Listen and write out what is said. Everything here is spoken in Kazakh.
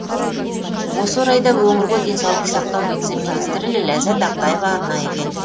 осы орайда өңірге денсаулық сақтау вице министрі ләззат ақтаева арнайы келді